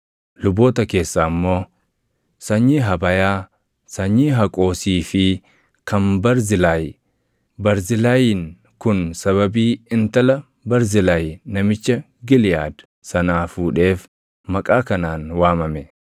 Luboota keessaa immoo: Sanyii Habayaa, sanyii Haqoosii fi kan Barzilaay; Barzilaayiin kun sababii intala Barzilaay namicha Giliʼaad sanaa fuudheef maqaa kanaan waamame.